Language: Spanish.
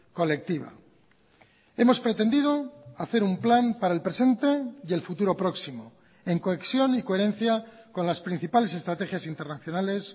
colectiva hemos pretendido hacer un plan para el presente y el futuro próximo en cohesión y coherencia con las principales estrategias internacionales